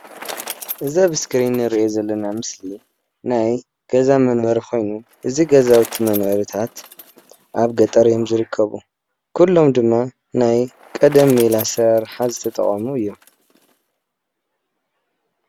እዚ ኣብ እስክሪን እንሪኦ ዘለና ምስሊ ናይ ገዛ መንበሪ ኮይኑ እዚ ገዛውቲ መንበርታት ኣብ ገጠር እዮም ዝርከቡ. ኩሎም ድማ ናይ ቀደም ሜላ ኣሰራርሓ ዝተጠቀሙ እዮም::